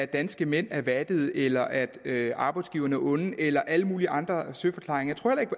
danske mænd er vattede eller at arbejdsgiverne er onde eller alle mulige andre søforklaringer